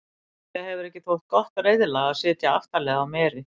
Líklega hefur ekki þótt gott reiðlag að sitja aftarlega á meri.